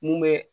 Mun bɛ